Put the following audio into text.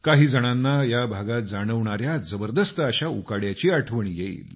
काहीजणांना या भागात जाणवणाऱ्या जबरदस्त अशा उकाड्याची आठवण येईल